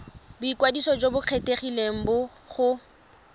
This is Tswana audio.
boikwadiso jo bo kgethegileng go